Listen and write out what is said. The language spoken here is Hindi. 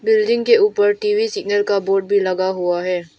बिल्डिंग के ऊपर टी_वी सिग्नल का बोर्ड लगा हुआ है।